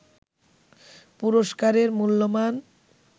পুরস্কারের মূল্যমান